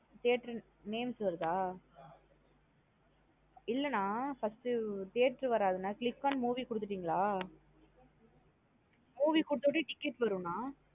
Theatre names வருதா இல்லன்னா first theatre வராது நா click on movie குடுதுடீங்களா movie குடுத்தா வட்டி ticket நா theatre names வருதா.